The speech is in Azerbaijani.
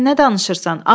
"Sən nə danışırsan?